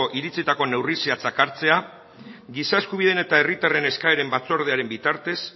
iritzietako neurri zehatzak hartzea giza eskubideen eta herritarren eskaeren batzordearen bitartez